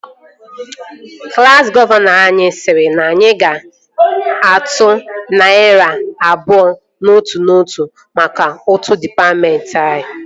Klassi gọvanọ anyị sịrị na anyị ga-atụ narị naira abụọ n'otu n'otu mka ụtụ dịpatmentị